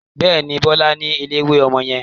Bẹ́ẹ̀ni, Bọlá ni eléwé ọmọ yẹn.